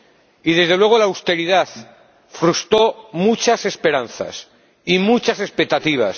Y, desde luego, la austeridad frustró muchas esperanzas y muchas expectativas.